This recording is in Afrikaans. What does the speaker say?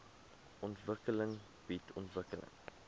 ontwikkeling bied ontwikkeling